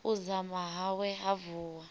u dzama hawe ha vuwa